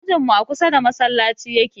Ajinmu a kusa da masallaci yake